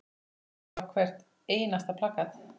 Ég á hvert einasta plakat.